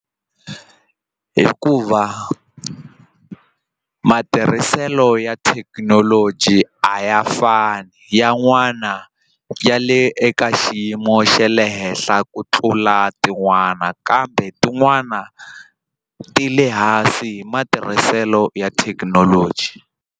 Hikuva matirhiselo ya thekinoloji a ya fani yan'wana ya le eka xiyimo xa le henhla ku tlula tin'wana kambe tin'wana ti le hansi hi matirhiselo ya thekinoloji.